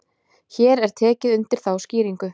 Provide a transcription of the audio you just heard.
Hér er tekið undir þá skýringu.